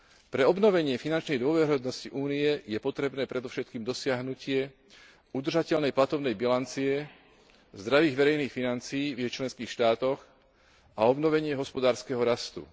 Pre obnovenie finančnej dôveryhodnosti Únie je potrebné predovšetkým dosiahnutie udržateľnej platobnej bilancie, zdravých verejných financií v jej členských štátoch a obnovenie hospodárskeho rastu.